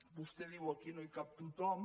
vostè diu aquí no hi cap tothom